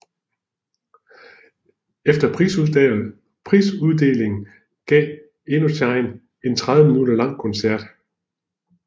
Efter prisuddelingen gav Indochine en 30 min lang koncert